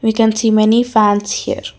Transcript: we can see many fans here.